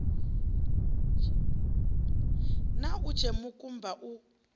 na u tshea mikumba u